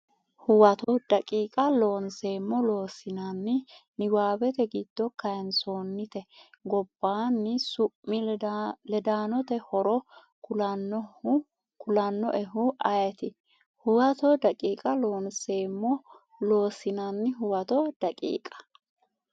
Huwato daqiiqa Loonseemmo Loossinanni Niwaawete giddo kayinsoonnite gobbaanni su mi ledaanote horo kulannoehu ayeeti Huwato daqiiqa Loonseemmo Loossinanni Huwato daqiiqa.